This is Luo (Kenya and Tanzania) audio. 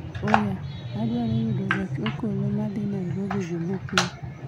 oya, adwaro yudo gach okoloma dhi nairobi jumapil